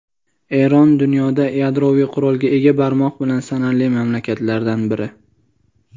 Eron dunyoda yadroviy qurolga ega barmoq bilan sanarli mamlakatlardan biri.